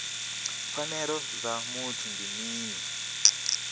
pfanelo dza muthu ndi mini